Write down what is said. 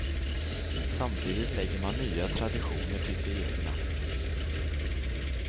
Samtidigt lägger man nya traditioner till de egna.